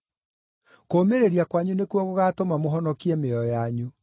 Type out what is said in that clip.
Kũũmĩrĩria kwanyu nĩkuo gũgaatũma mũhonokie mĩoyo yanyu.